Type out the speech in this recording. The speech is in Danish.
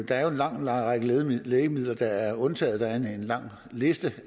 der er jo en lang lang række lægemidler lægemidler der er undtaget der er en lang liste